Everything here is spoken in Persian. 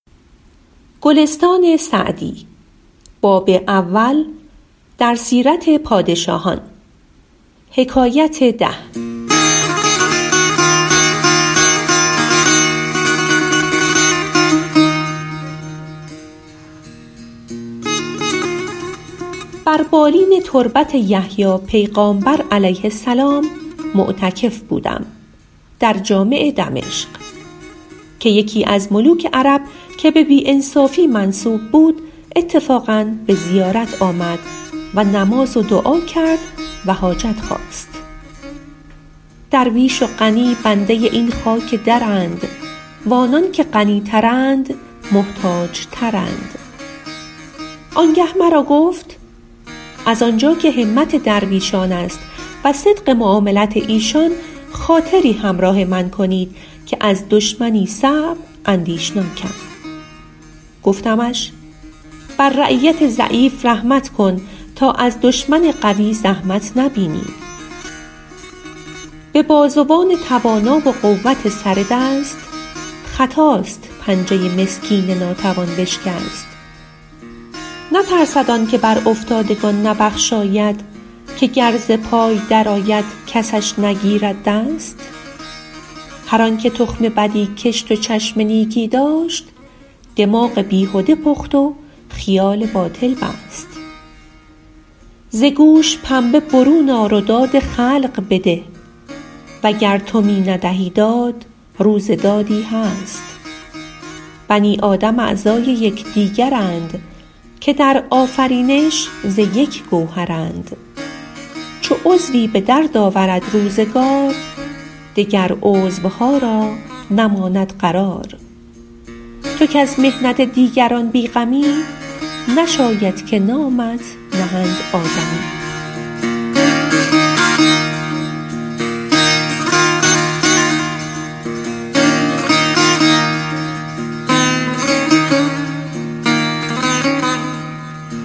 بر بالین تربت یحیی پیغامبر -علیه السلام- معتکف بودم در جامع دمشق که یکی از ملوک عرب که به بی انصافی منسوب بود اتفاقا به زیارت آمد و نماز و دعا کرد و حاجت خواست درویش و غنی بنده این خاک درند و آنان که غنی ترند محتاج ترند آن گه مرا گفت از آن جا که همت درویشان است و صدق معاملت ایشان خاطری همراه من کنید که از دشمنی صعب اندیشناکم گفتمش بر رعیت ضعیف رحمت کن تا از دشمن قوی زحمت نبینی به بازوان توانا و قوت سر دست خطاست پنجه مسکین ناتوان بشکست نترسد آن که بر افتادگان نبخشاید که گر ز پای در آید کسش نگیرد دست هر آن که تخم بدی کشت و چشم نیکی داشت دماغ بیهده پخت و خیال باطل بست ز گوش پنبه برون آر و داد خلق بده وگر تو می ندهی داد روز دادی هست بنی آدم اعضای یکدیگرند که در آفرینش ز یک گوهرند چو عضوی به درد آورد روزگار دگر عضوها را نماند قرار تو کز محنت دیگران بی غمی نشاید که نامت نهند آدمی